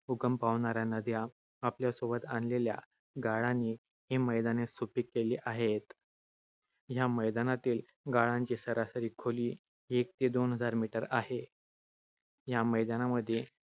उगम पावणाऱ्या नद्या आपल्याबरोबर आणलेल्या गाळाने ही मैदाने सुपीक केली आहेत. या मैदानातील गाळांची सरासरी खोली एक ते दोन हजार meter आहे. या मैदानामध्ये